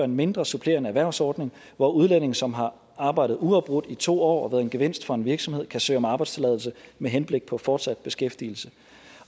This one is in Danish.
mindre supplerende erhvervsordning hvor udlændinge som har arbejdet uafbrudt i to år og været en gevinst for en virksomhed kan søge om arbejdstilladelse med henblik på fortsat beskæftigelse